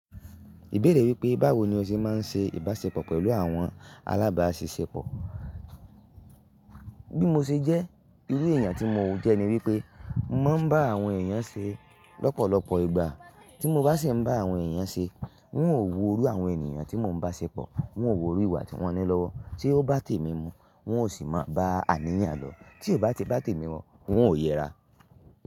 Ìbéèrè wípé báwo ni o ṣe máa ń ṣe ìbáṣepọ̀ pẹ̀lú àwọn alábáṣiṣẹ́pọ̀? Bí mo ṣe jẹ́, irú èèyàn tí mo jẹ́ ni wípé mo máa ń bá àwọn èèyàn ṣe lọ́pọ̀lọpọ̀ ìgbà. Tí mo bá sì ń bá àwọn èèyàn ṣe, hun ò wo rú àwọn ènìyàn tí mo ń bá ṣepọ̀, hun ò wo rú ìwà tí wọ́n ní lọ́wọ́. Tí ó bá tèmi mu, wọn ò sì máa bá àníyàn lọ. Tí kò bá tèmi mu, un ò yẹra.